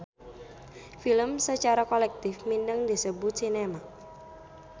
Film sacara kolektif mindeng disebut sinema.